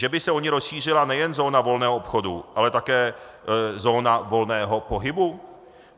Že by se o ni rozšířila nejen zóna volného obchodu, ale také zóna volného pohybu?